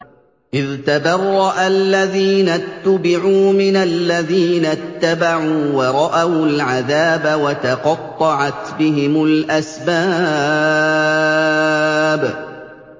إِذْ تَبَرَّأَ الَّذِينَ اتُّبِعُوا مِنَ الَّذِينَ اتَّبَعُوا وَرَأَوُا الْعَذَابَ وَتَقَطَّعَتْ بِهِمُ الْأَسْبَابُ